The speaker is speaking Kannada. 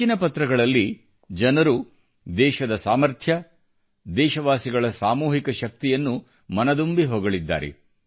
ಹೆಚ್ಚಿನ ಪತ್ರಗಳಲ್ಲಿ ಜನರು ದೇಶದ ಸಾಮರ್ಥ್ಯ ದೇಶವಾಸಿಗಳ ಸಾಮೂಹಿಕ ಶಕ್ತಿಯನ್ನು ಮನಃದುಂಬಿ ಹೊಗಳಿದ್ದಾರೆ